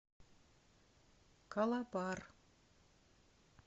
калабар